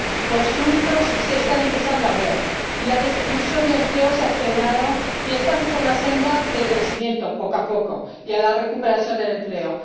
Los frutos se están empezando a ver, la destrucción de empleo se ha frenado y estamos en la senda del crecimiento ―poco a poco― y de la recuperación del empleo.